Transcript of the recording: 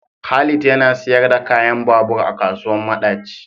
Khalid yana siyar da kayan babur a kasuwar madaci.